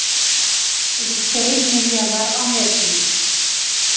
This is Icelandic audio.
Yfir tveir milljarðar á netinu